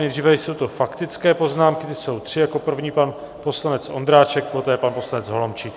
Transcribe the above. Nejdříve jsou to faktické poznámky, ty jsou tři, jako první pan poslanec Ondráček, poté pan poslanec Holomčík.